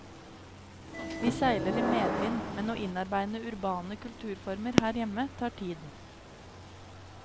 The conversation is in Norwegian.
Vi seiler i medvind, men å innarbeide urbane kulturformer her hjemme tar tid.